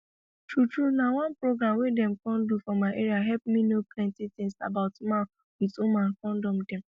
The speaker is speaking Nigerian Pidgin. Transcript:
true true na one program wey dem come do for my area helep me know plenty things about man with woman kondom dem